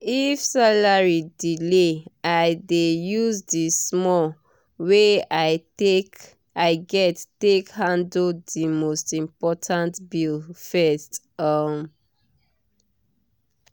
if salary delay i dey use the small wey i get take handle the most important bills first. um